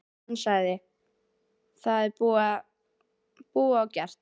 Hann sagði: Það er búið og gert.